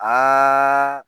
Aaaa